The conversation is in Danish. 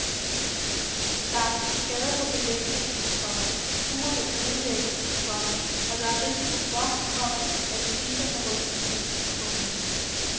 Der er sket skader på belægningen, komma furerne ødelægges, komma og der er risiko for, komma at fliserne rystes løs. punktum